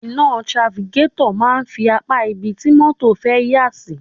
Iná trafikétọ̀ máa ń fi apá ibi tí mọ́tọ̀ fẹ́ yà sí.